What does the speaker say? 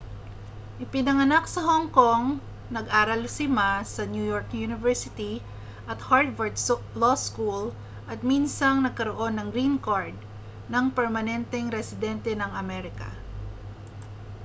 ipinanganak sa hong kong nag-aral si ma sa new york university at harvard law school at minsang nagkaroon ng green card ng permanenteng residente ng amerika